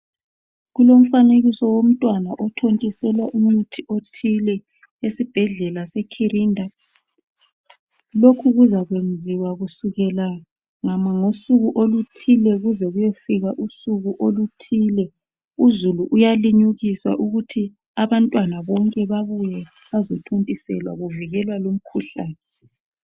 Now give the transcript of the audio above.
Kulomifanekiso womntwana othontiselwa umuthi othile esibhedlela seKhirinda lokhu kuzayenziwa kusukela ngosuku oluthile kuze kuyofika usuku oluthile. Uzulu uyalimukiswa ukuthi abantwana bonke babuye bazothontiselwa kuvikelwa lomkhuhlane.